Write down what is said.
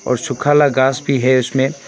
और सुखा आला घास भी है इसमें।